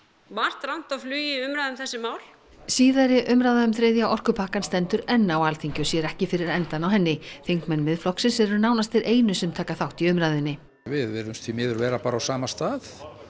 margt rangt á flugi í umræðum um þessi mál síðari umræða um þriðja orkupakkann stendur enn á Alþingi og sér ekki fyrir endann á henni þingmenn Miðflokksins eru nánast þeir einu sem taka þátt í umræðunni við virðumst því miður vera bara á sama stað